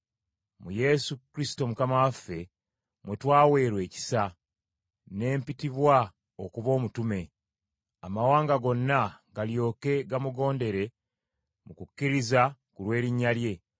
Mu Yesu Kristo Mukama waffe, mwe twaweerwa ekisa, ne mpitibwa okuba omutume, amawanga gonna galyoke gamugondere mu kukkiriza ku lw’erinnya lye.